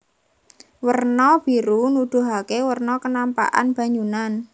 Werna biru nuduhaké werna kenampakan banyunan